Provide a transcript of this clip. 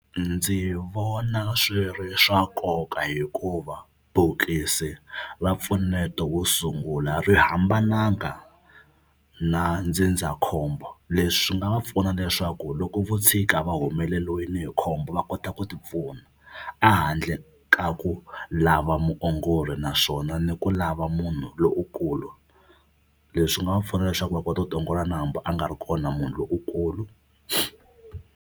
Ndzi vona swi ri swa nkoka hikuva bokisi ra mpfuneto wo sungula ri hambananga na ndzindzakhombo. Leswi swi nga va pfuna leswaku loko vo tshika va humeleriwile hi khombo va kota ku tipfuna a handle ka ku lava muongori naswona ni ku lava munhu lowukulu. Leswi nga va pfuna leswaku va kota ku tiongola na hambi a nga ri kona munhu lowukulu.